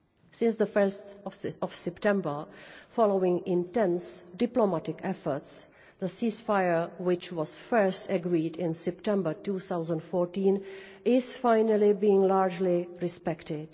Since 1 September following intense diplomatic efforts the ceasefire, which was first agreed in September 2014, is at last being largely respected.